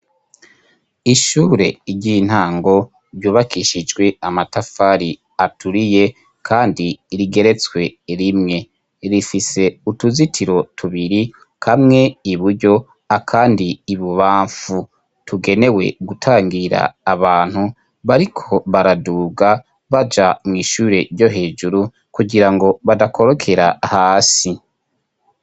Ishure, ry'intango ryubakishijwe amatafari aturiye ,kandi rigeretswe rimwe ,rifise utuzitiro tubiri kamwe iburyo akandi ibubamfu ,tugenewe gutangira abantu bariko baraduga baja mw'ishure ryo hejuru ,kugira ngo badakorokera hasi.